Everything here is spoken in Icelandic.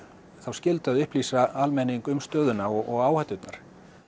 þá skyldu að upplýsa almenning um stöðuna og áhætturnar